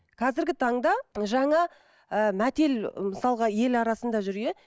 қазіргі таңда жаңа ыыы мәтел мысалға ел арсында жүр иә